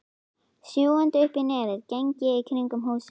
Sjúgandi uppí nefið geng ég í kringum húsið.